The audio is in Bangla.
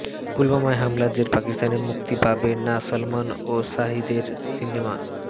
পুলওয়ামা হামলার জের পাকিস্তানে মুক্তি পাবে না সলমান ও শাহিদের সিনেমা